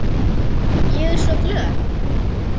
Ég er svo glöð.